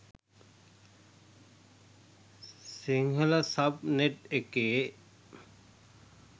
Sinhala subnet එකේ